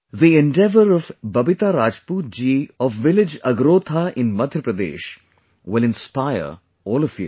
The endeavour of Babita Rajput ji of village Agrotha in Madhya Pradesh will inspire all of you